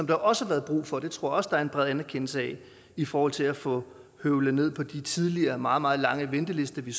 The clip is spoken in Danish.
der også har været brug for det tror jeg også der er bred anerkendelse af i forhold til at få høvlet ned på de tidligere meget meget lange ventelister vi